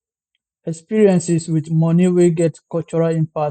experiences wit money wey get cultural impact